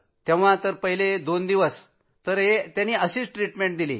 तेव्हा तर पहिले दोन दिवस तर असेच गेले